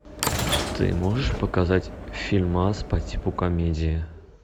ты можешь показать фильмас по типу комедии